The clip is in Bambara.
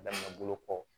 Daminɛna bolo kɔ